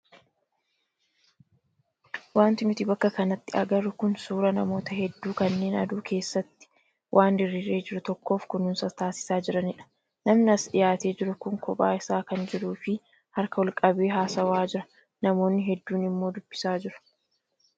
Wanti nuti bakka kanatti agarru kun suuraa namoota hedduu kanneen aduu keessatti waan diriiree jiru tokkoof kunuunsa taasisaa jiranidha. Namni as dhiyaatee jiru kun kophaa isaa kan jiruu fi harka ol qabee haasawaajira namoonni hedduun immoo duubasaa jiru.